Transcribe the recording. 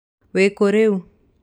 Wĩkũ rĩu?